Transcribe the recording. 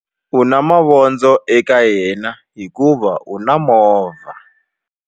U na mavondzo eka yena hikuva u na movha.